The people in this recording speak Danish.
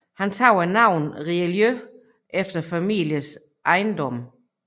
Han tog senere navnet Richelieu efter familiens ejendom